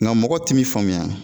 Nga mɔgɔw t'i faamuya.